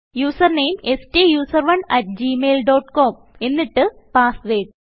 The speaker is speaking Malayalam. യൂസർ നാമെ സ്റ്റൂസറോണ് അട്ട് ഗ്മെയിൽ ഡോട്ട് കോം എന്നിട്ട് പാസ്വേർഡ്